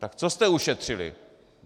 Tak co jste ušetřili?